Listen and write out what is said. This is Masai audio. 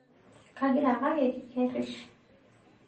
Kegira kake keirish